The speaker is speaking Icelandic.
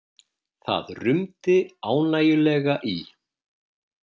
Það rumdi ánægjulega í